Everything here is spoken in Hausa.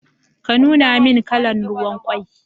Ka nuna min kalan ruwan kwai